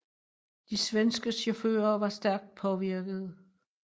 De svenske chauffører var stærkt påvirkede